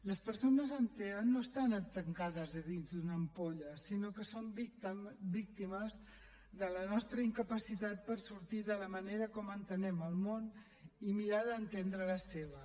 les persones amb tea no estan tancades dins d’una ampolla sinó que són víctimes de la nostra incapacitat per sortir de la manera com entenem el món i mirar d’entendre la seva